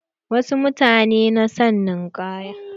Wasu mutanen na son ninkaya.